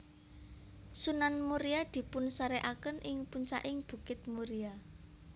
Sunan Muria dipunsarékaken ing puncaking bukit Muria